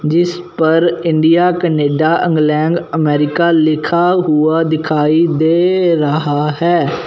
जिस पर India Canada England America लिखा हुआ दिखाई दे रहा है।